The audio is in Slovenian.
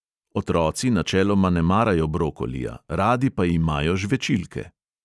Otroci načeloma ne marajo brokolija, radi pa imajo žvečilke.